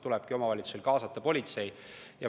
Tulebki omavalitsustel kaasata politsei.